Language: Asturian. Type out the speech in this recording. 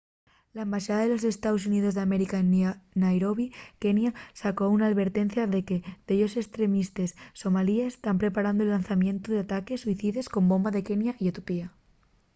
la embaxada de los estaos xuníos d’américa en nairobi kenya sacó una alvertencia de que dellos estremistes somalíes” tán preparando’l llanzamientu d’ataques suicides con bomba en kenya y etiopía